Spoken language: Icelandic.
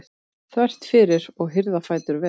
þvert fyrir og hirða fætur vel.